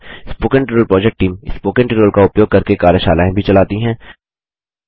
spoken tutorial project team spoken tutorial का उपयोग करके कार्यशालाएँ भी चलाती है